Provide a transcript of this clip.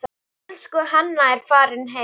Elsku Hanna er farin heim.